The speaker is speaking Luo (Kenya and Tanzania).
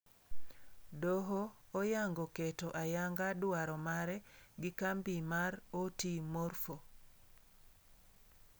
Doho oyango kketo ayanga dwrao mare gi kambi mar OT-Morpho.